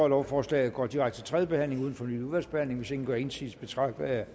lovforslag går direkte til tredje behandling uden fornyet udvalgsbehandling hvis ingen gør indsigelse betragter jeg